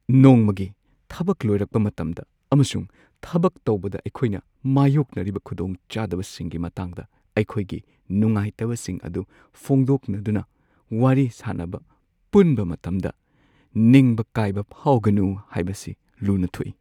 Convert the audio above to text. ꯅꯣꯡꯃꯒꯤ ꯊꯕꯛ ꯂꯣꯏꯔꯛꯄ ꯃꯇꯝꯗ ꯑꯃꯁꯨꯡ ꯊꯕꯛ ꯇꯧꯕꯗ ꯑꯩꯈꯣꯏꯅ ꯃꯥꯌꯣꯛꯅꯔꯤꯕ ꯈꯨꯗꯣꯡꯆꯥꯗꯕꯁꯤꯡꯒꯤ ꯃꯇꯥꯡꯗ ꯑꯩꯈꯣꯏꯒꯤ ꯅꯨꯡꯉꯥꯏꯇꯕꯁꯤꯡ ꯑꯗꯨ ꯐꯣꯡꯗꯣꯛꯅꯗꯨꯅ ꯋꯥꯔꯤ ꯁꯥꯅꯕ ꯄꯨꯟꯕ ꯃꯇꯝꯗ ꯅꯤꯡꯕ ꯀꯥꯏꯕ ꯐꯥꯎꯒꯅꯨ ꯍꯥꯏꯕꯁꯤ ꯂꯨꯅ ꯊꯣꯛꯏ ꯫